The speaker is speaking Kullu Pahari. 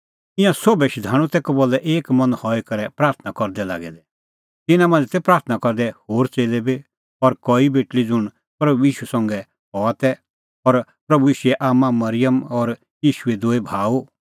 ईंयां सोभै शधाणूं तै कबल्लै एक मन हई करै प्राथणां करदै लागै दै तिन्नां मांझ़ै तै प्राथणां करदै होर च़ेल्लै बी और कई बेटल़ी ज़ुंण प्रभू ईशू संघै हआ तै और प्रभू ईशूए आम्मां मरिअम और ईशूए दूई भाऊ